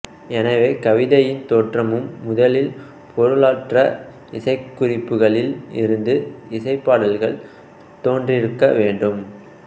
எனவே கவிதையின் தோற்றமும் முதலில் பொருளற்ற இசை குறிப்புகளில் இருந்து இசைப் பாடல்கள் தோன்றிருக்க வேண்டும்